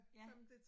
Ja